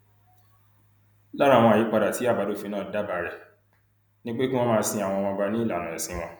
lára àwọn àyípadà tí àbádòfin náà dábàá rẹ ni pé kí wọn máa sin àwọn ọba ní ìlànà ẹsìn wọn